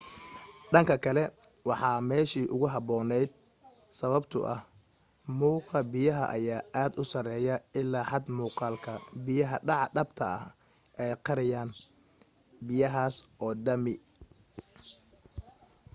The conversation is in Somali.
dhanka kale waa meeshii ugu habboonayd sababtoo ah mugga biyaha ayaa aad u sareeya illaa xad muuqaalka biya dhaca dhabta ah ay qariyaan biyahaas oo dhami